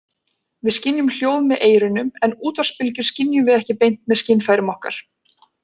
Við skynjum hljóð með eyrunum en útvarpsbylgjur skynjum við ekki beint með skynfærum okkar.